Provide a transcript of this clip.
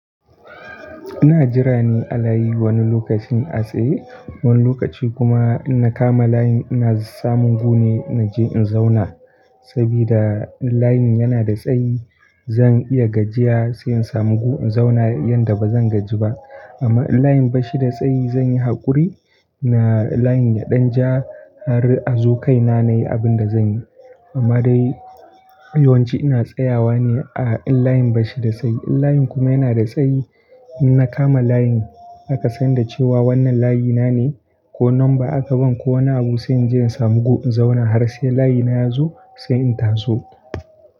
Ina jira ne a layi wani lokacin a tsaye, wani lokaci kuma in na kama layin ina samun gu ne na je in zauna. Saboda in layin yana da tsayi zan iya gajiya sai in samu gu in zauna yanda ba zan gaji ba. Amma in layin bashi da tsayi zan yi haƙuri na layin ya ɗan ja har a zo kaina nayi abin da zan yi. Amma dai yawanci ina tsayawa ne a in layin bashi da tsayi. In layin kuma yana da tsayi, in na kama layin aka san da cewa wannan layi na ne ko nan ba aka ban ko wani abu sai in je in samu gu in zauna har sai layina ya zo sai in taso.